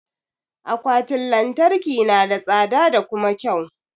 Akwatin lantarki na da tsada da kuma kyau.